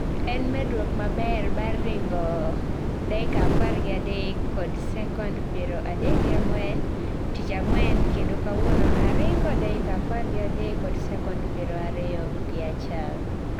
En medruok maber bang' ringo (dakika apar gi adek kod sekond piero adek gi ang'wen) tich ang'wen kendo kawuono aringo (dakika apar gi adek kod sekond piero ariyo gi achiel).